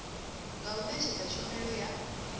nga u netshedza tshumelo ya